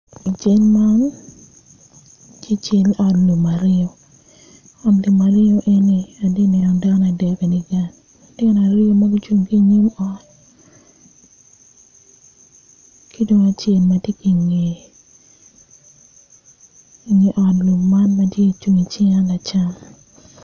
I cal man tye cal ot lum aryo atye ka neno dako adek i dye kal lutino aryo ma gucung ki i nyim ot ki dong acel ma tye i ki i ngeye ot lum man tye i cinga ma tung lacam.